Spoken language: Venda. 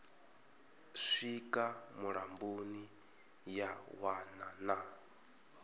swika mulamboni ya wana na